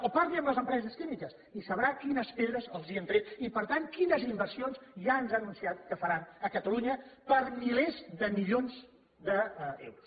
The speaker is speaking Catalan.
o parli amb les empreses químiques i sabrà quines pedres els hem tret i per tant quines inversions ja ens han anunciat que faran a catalunya per milers de milions d’euros